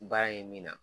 Baara ye min na